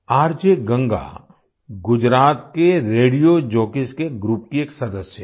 RJ Ganga Gujarat के radio jockeys के group की एक सदस्य हैं